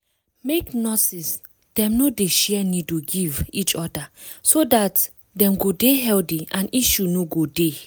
make nurses dem no dey share needle give each other so dat dem go dey healthy and issue no go dey